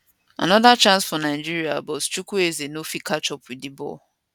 anoda chance for nigeria but chukwueze no fit catch up wit di ball